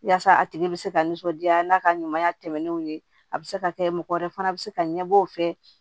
Yaasa a tigi bɛ se ka nisɔndiya n'a ka ɲumanya tɛmɛnenw ye a bɛ se ka kɛ mɔgɔ wɛrɛ fana bɛ se ka ɲɛbɔ o fɛ